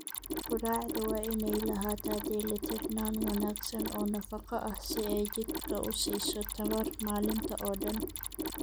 Quraacdu waa inay lahaataa dheelitirnaan wanaagsan oo nafaqo ah si ay jidhka u siiso tamar maalinta oo dhan.